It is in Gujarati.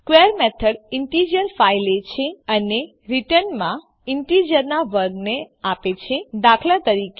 સ્ક્વેર મેથડ ઈન્ટીજર ૫ લે છે અને રીટર્નમાં ઈન્ટીજરનાં વર્ગને આપે છે દાત